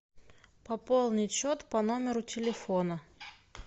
пополнить счет по номеру телефона